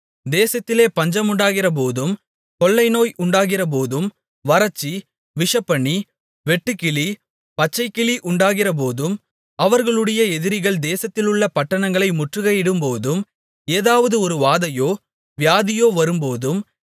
தேசத்திலே பஞ்சம் உண்டாகிறபோதும் கொள்ளைநோய் உண்டாகிறபோதும் வறட்சி விஷப்பனி வெட்டுக்கிளி பச்சைக்கிளி உண்டாகிறபோதும் அவர்களுடைய எதிரிகள் தேசத்திலுள்ள பட்டணங்களை முற்றுக்கையிடும்போதும் ஏதாவது ஒரு வாதையோ வியாதியோ வரும்போதும்